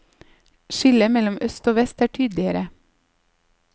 Skillet mellom øst og vest er tydeligere.